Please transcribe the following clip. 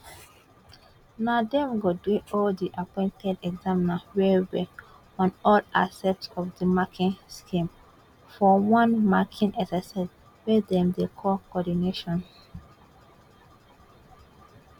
na dem go drill all di appointed examiners wellwell on all aspects of di marking scheme for one marking exercise wey dem dey call coordination